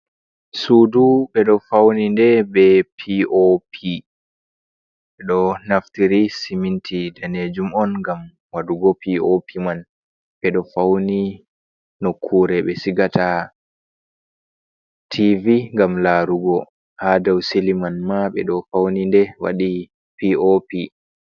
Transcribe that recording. Sudu, ɓeɗo fauni nde be pi o pi, ɗo naftire siminti danejum on ngam wadugo pi o pi man ɓeɗo fauni nokkure be sigata tivi, ngam larugo ha do silin man ma ɓe faunide waɗi pi o pi.